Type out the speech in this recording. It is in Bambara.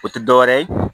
O tɛ dɔwɛrɛ ye